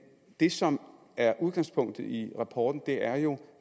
det som er udgangspunktet i rapporten er jo